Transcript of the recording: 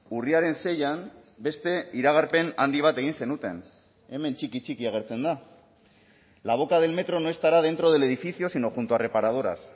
urriaren seian beste iragarpen handi bat egin zenuten hemen txiki txiki agertzen da la boca del metro no estará dentro del edificio sino junto a reparadoras